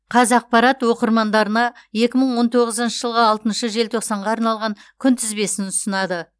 қазақпарат оқырмандарына екі мың он тоғызыншы жылғы алтыншы желтоқсанға арналған күнтізбесін ұсынады